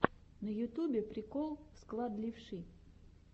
на ютубе прикол склад левши